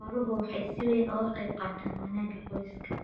Xooluhu waxay si weyn uga qaybqaataan wanaagga qoyska.